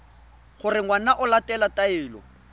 gore ngwana o latela taelo